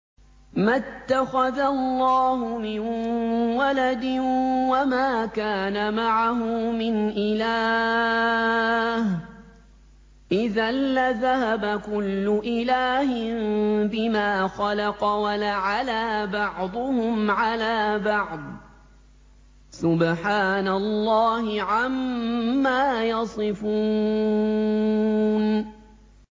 مَا اتَّخَذَ اللَّهُ مِن وَلَدٍ وَمَا كَانَ مَعَهُ مِنْ إِلَٰهٍ ۚ إِذًا لَّذَهَبَ كُلُّ إِلَٰهٍ بِمَا خَلَقَ وَلَعَلَا بَعْضُهُمْ عَلَىٰ بَعْضٍ ۚ سُبْحَانَ اللَّهِ عَمَّا يَصِفُونَ